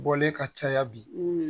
Bɔlen ka caya bi